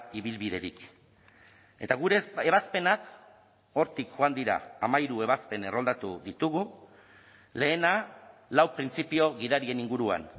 ibilbiderik eta gure ebazpenak hortik joan dira hamairu ebazpen erroldatu ditugu lehena lau printzipio gidarien inguruan